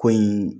Ko in